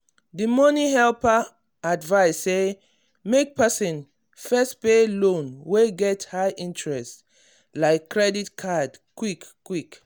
the money helper advise say make person first pay loan wey get high interest like credit card quick quick.